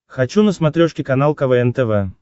хочу на смотрешке канал квн тв